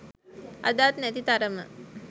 අදත් නැති තරම